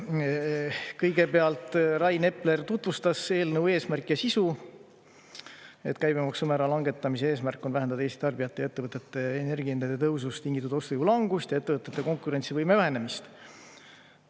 Kõigepealt Rain Epler tutvustas eelnõu eesmärki ja sisu, et käibemaksumäära langetamise eesmärk on vähendada Eesti tarbijate ja ettevõtete energiahindade tõusust tingitud ostujõu langust ja ettevõtete konkurentsivõime vähenemist.